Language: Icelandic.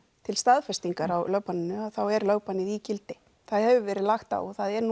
til staðfestingar á lögbanninu þá er lögbannið í gildi það hefur verið lagt á og það er